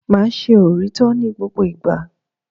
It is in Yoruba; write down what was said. Máa ṣe òrítọ́ ní gbogbo ìgbà.